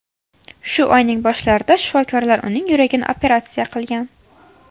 Shu oyning boshlarida shifokorlar uning yuragini operatsiya qilgan.